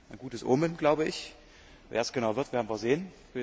Ein gutes Omen, glaube ich. Wer es genau wird, werden wir sehen.